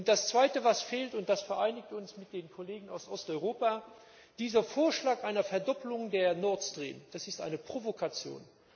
Und das Zweite, was fehlt und das eint uns mit den Kollegen aus Osteuropa Dieser Vorschlag einer Verdopplung von Nord Stream, das ist eine Provokation!